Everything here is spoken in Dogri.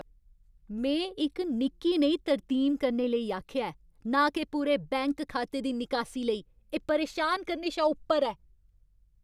में इक निक्की नेही तरमीम करने लेई आखेआ ऐ, ना के पूरे बैंक खाते दी निकासी लेई! एह् परेशान करने शा उप्पर ऐ।